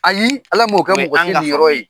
Ayi ala m'o kɛ mɔgɔsi niyɔrɔ ye.